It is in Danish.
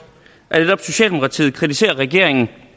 at netop socialdemokratiet kritiserer regeringen